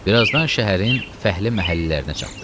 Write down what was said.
Birazdan şəhərin fəhli məhəllələrinə çatdı.